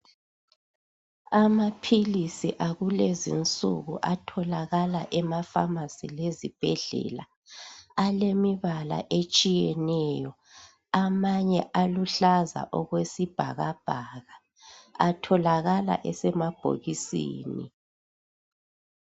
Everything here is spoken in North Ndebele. Amaphilisi akulezinsuku atholakala ema pharmacy lezibhedlela alemibala etshiyeneyo .Amanye aluhlaza okwesibhakabhaka .Atholakala esemabhokisini